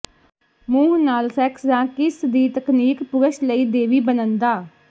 ਮੂੰਹ ਨਾਲ ਸੈਕਸ ਜ ਕਿਸ ਦੀ ਤਕਨੀਕ ਪੁਰਸ਼ ਲਈ ਦੇਵੀ ਬਣਨ ਦਾ